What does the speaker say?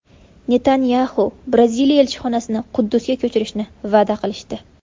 Netanyaxu: Braziliya elchixonasini Quddusga ko‘chirishni va’da qilishdi.